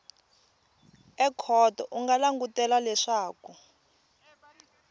ekhoto u nga langutela leswaku